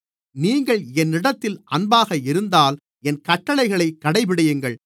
நீங்கள் என்னிடத்தில் அன்பாக இருந்தால் என் கட்டளைகளைக் கடைபிடியுங்கள்